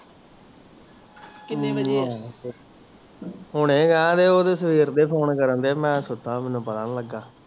ਕੀਨੇ ਵਜੇ ਹੁਣੇ ਆਯਾ ਤੇ ਹੋ ਤੇ ਸੇਵਰ ਦੇ ਫੋਨ ਕਰਨ ਦੇ ਮੈਂ ਤੇ ਸੁਤਾ ਮੈਨੂੰ ਪਤਾ ਨਹੀਂ ਲਗਾ